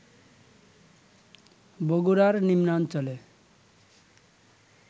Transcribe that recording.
বগুড়ার নিম্নাঞ্চলে